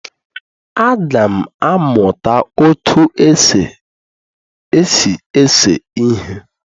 Aga m amụta otú e si ese ihe